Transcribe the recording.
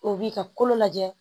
O b'i ka kolo lajɛ